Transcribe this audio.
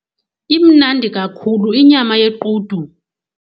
Imnandi kakhulu inyama yequdu.